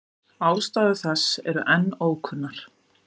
Ástæður þess eru enn ókunnar.